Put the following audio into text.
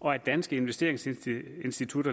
og danske investeringsinstitutter